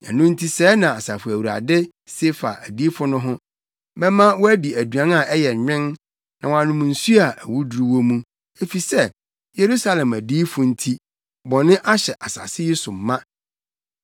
Ɛno nti sɛɛ na Asafo Awurade, se fa adiyifo no ho: “Mɛma wɔadi aduan a ɛyɛ nwen na wɔanom nsu a awuduru wɔ mu, efisɛ Yerusalem adiyifo nti, bɔneyɛ ahyɛ asase yi so ma.”